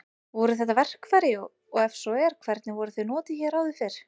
Voru þetta verkfæri og ef svo er hvernig voru þau notuð hér áður fyrr?